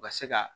U ka se ka